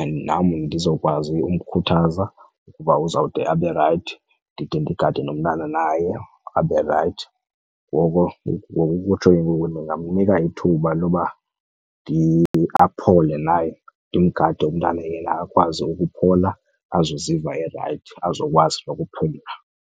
And nam ndizokwazi umkhuthaza uba uzawude abe rayithi, ndide ndingade nomntana naye abe rayithi. Ngoko ngokokutsho ke ngoku ndingamnika ithuba loba aphole naye, ndimgade umntana yena akwazi ukuphola azoziva erayithi, azokwazi nokuphumla.